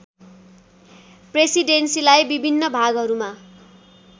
प्रेसिडेन्सीलाई विभिन्न भागहरूमा